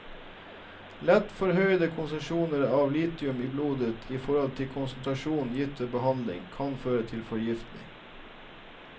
Lett forhøyede konsentrasjoner av lithium i blodet i forhold til konsentrasjon gitt ved behandling, kan føre til forgiftning.